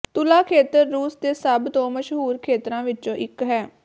ਤੁਲਾ ਖੇਤਰ ਰੂਸ ਦੇ ਸਭ ਤੋਂ ਮਸ਼ਹੂਰ ਖੇਤਰਾਂ ਵਿੱਚੋਂ ਇੱਕ ਹੈ